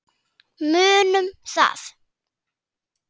Munum það.